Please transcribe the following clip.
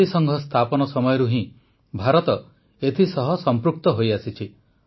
ଜାତିସଂଘ ସ୍ଥାପନ ସମୟରୁ ହିଁ ଭାରତ ଏଥିସହ ସମୃକ୍ତ ହୋଇଆସିଛି